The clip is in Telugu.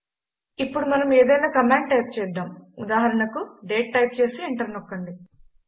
ఇప్పుడు మనం ఏదైనా కమాండ్ టైప్ చేద్దాం ఉదాహరణకు డేట్ టైప్ చేసి ఎంటర్ నొక్కండి